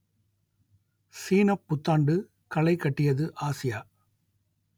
சீனப் புத்தாண்டு களைகட்டியது ஆசியா